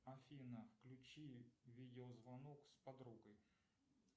афина включи видеозвонок с подругой